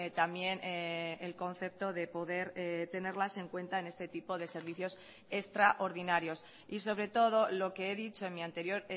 también el concepto de poder tenerlas en cuenta en este tipo de servicios extraordinarios y sobre todo lo que he dicho en mi anterior